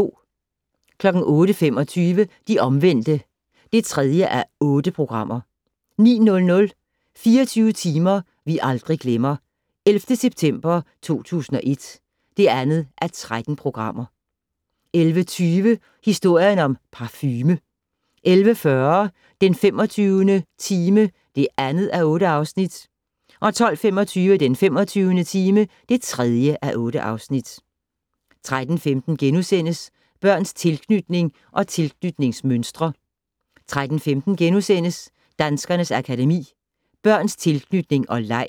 08:25: De Omvendte (3:8) 09:00: 24 timer vi aldrig glemmer - 11. september 2001 (2:13) 11:20: Historien om parfume 11:40: Den 25. time (2:8) 12:25: Den 25. time (3:8) 13:15: Børns tilknytning og tilknytningsmønstre * 13:15: Danskernes Akademi: Børns tilknytning og leg